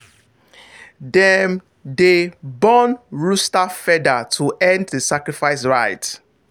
dem dey burn rooster feather to end the sacrifice rite.